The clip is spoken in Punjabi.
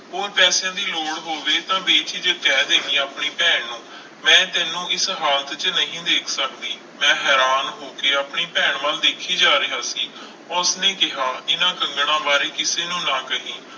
ਹੋਰ ਪੈਸਿਆਂ ਦੀ ਲੋੜ ਹੋਵੇ ਤਾਂ ਬੇਝਿਜਕ ਕਹਿ ਦੇਵੀਂ ਆਪਣੀ ਭੈਣ ਨੂੰ, ਮੈਂ ਤੈਨੂੰ ਇਸ ਹਾਲਤ 'ਚ ਨਹੀਂ ਦੇਖ ਸਕਦੀ, ਮੈਂ ਹੈਰਾਨ ਹੋ ਕੇ ਆਪਣੀ ਭੈਣ ਵੱਲ ਦੇਖੀ ਜਾ ਰਿਹਾ ਸੀ, ਉਸਨੇ ਕਿਹਾ ਇਹਨਾਂ ਕੰਗਣਾਂ ਬਾਰੇ ਕਿਸੇ ਨੂੰ ਨਾ ਕਹੀ।